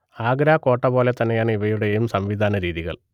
ആഗ്രാകോട്ടപോലെ തന്നെയാണ് ഇവയുടെയും സംവിധാനരീതികൾ